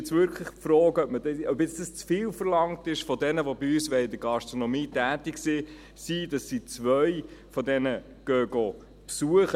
Jetzt ist wirklich die Frage, ob es zu viel von jenen verlangt ist, die bei uns in der Gastronomie tätig sein wollen, dass sie zwei von diesen Modulen besuchen.